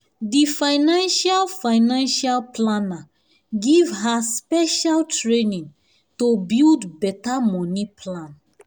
di financial financial planner give her special training to build better money plan.